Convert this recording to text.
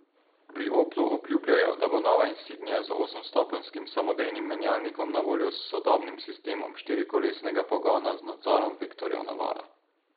Pri Oplu Obljubljajo, da bo nova insignia z osemstopenjskim samodejnim menjalnikom na voljo s sodobnim sistemom štirikolesnega pogona z nadzorom vektorjev navora.